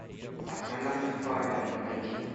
астронавт фармер найди